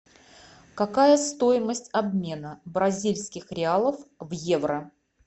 какая стоимость обмена бразильских реалов в евро